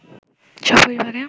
স্বপরিবারে